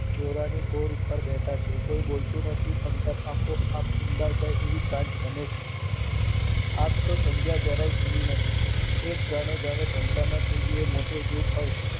ચોરાની કોર ઉપર બેઠા છે કોઈ બોલતું નથી અંતર આપો આપ ઊંડે જાય એવી સાંજ નમે છે. આમ તો સન્ધ્યા જરાય ખીલી નથી એક જાણે સન્ધ્યા ના ખીલી હોય એ મોટું દુખ હોય